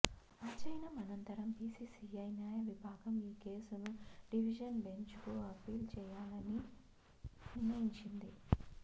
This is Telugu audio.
అధ్యయనం అనంతరం బీసీసీఐ న్యాయ విభాగం ఈ కేసును డివిజన్ బెంచ్కు అప్పీల్ చేయాలని నిర్ణయించింది